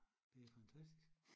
Det er fantastisk